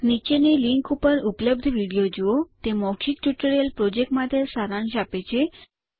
નીચેની લીંક પર ઉપલબ્ધ વિડીયો જુઓ httpspoken tutorialorgWhat is a Spoken Tutorial તે મૌખિક ટ્યુટોરીયલ પ્રોજેક્ટ માટે સારાંશ આપે છે